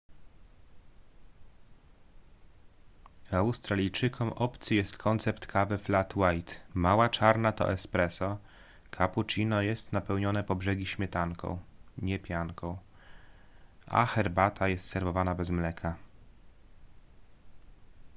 australijczykom obcy jest koncept kawy flat white”. mała czarna to espresso” cappuccino jest napełnione po brzegi śmietanką nie pianką a herbata jest serwowana bez mleka